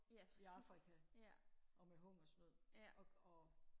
i afrika og med hungersnød og og